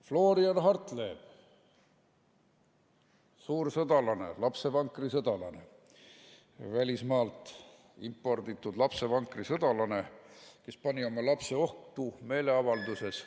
Florian Hartleb – suur sõdalane, lapsevankrisõdalane, välismaalt imporditud lapsevankrisõdalane, kes pani oma lapse ohtu meeleavalduses.